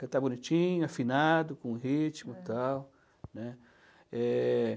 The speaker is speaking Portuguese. Cantar bonitinho, afinado, com ritmo e tal, né. Eh...